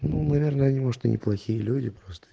ну наверное не может они плохие люди просто